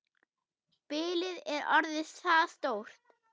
Bilið er orðið það stórt.